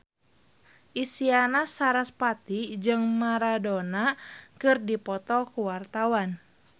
Isyana Sarasvati jeung Maradona keur dipoto ku wartawan